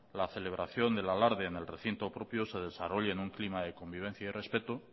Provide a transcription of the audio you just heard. la celebración del alarde en el recinto propio se desarrolle en un clima de convivencia y respecto